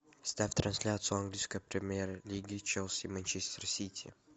ставь трансляцию английской премьер лиги челси манчестер сити